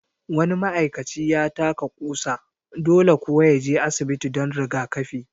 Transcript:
Wani ma'aikaci ya taka ƙusa, dole kuwa ya je asibiti don rigakafi